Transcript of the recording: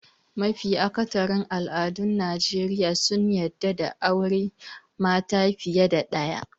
Mafi akatharin al'adun Najeriya sun yarda da aure mata fiye da ɗaya.